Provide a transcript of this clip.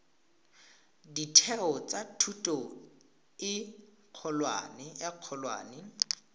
ditheo tsa thuto e kgolwane